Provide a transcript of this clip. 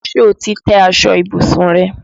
Ṣé o ti tẹ́ aṣọ ìbùsùn rẹ?